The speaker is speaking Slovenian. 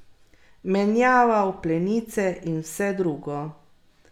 Menjaval plenice in vse drugo.